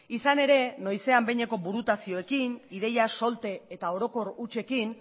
izan ere noizean behineko burutazioekin ideia solte eta orokor hutsekin